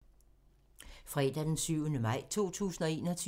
Fredag d. 7. maj 2021